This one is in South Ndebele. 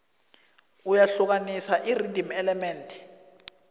iyahlukani irhythm element